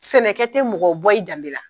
Sɛnɛ kɛ tɛ mɔgɔ bɔ i danbe la.